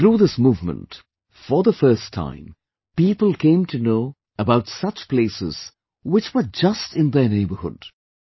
Through this movement, for the first time, people came to know about such places, which were just in their neighbourhood